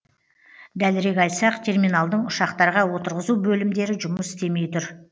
дәлірек айтсақ терминалдың ұшақтарға отырғызу бөлімдері жұмыс істемей тұр